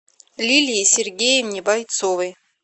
лилии сергеевне бойцовой